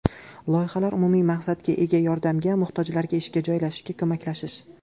Loyihalar umumiy maqsadga ega yordamga muhtojlarga ishga joylashishga ko‘maklashish.